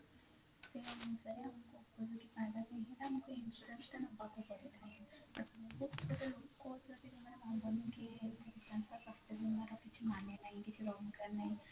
ସେଇ ଅନୁସାରେ ଆମକୁ insurance ତ ନବାକୁ ପଡେ କିଛି ମାନେ ନାହି କିଛି